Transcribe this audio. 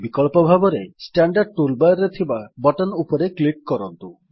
ବିକଳ୍ପ ଭାବରେ standard tool bar ରେ ଥିବା ବଟନ୍ ଉପରେ କ୍ଲିକ୍ କରନ୍ତୁ